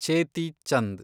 ಚೇತಿ ಚಂದ್